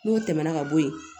N'o tɛmɛna ka bɔ yen